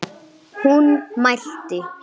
Hún mælti